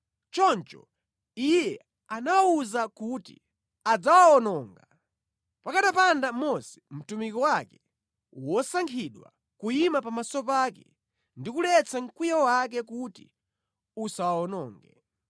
Choncho Iye anawawuza kuti adzawawononga, pakanapanda Mose, mtumiki wake wosankhidwa, kuyima pamaso pake, ndi kuletsa mkwiyo wake kuti usawawononge.